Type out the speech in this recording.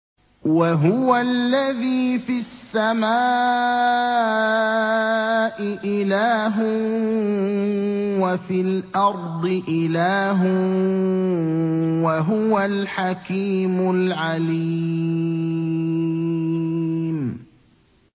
وَهُوَ الَّذِي فِي السَّمَاءِ إِلَٰهٌ وَفِي الْأَرْضِ إِلَٰهٌ ۚ وَهُوَ الْحَكِيمُ الْعَلِيمُ